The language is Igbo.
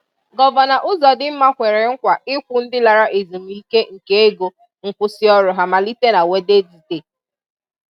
Gọvanọ Uzodimma kwere nkwa ịkwụ ndị lara ezumike nka ego nkwụsị ọrụ ha malite na Wednezde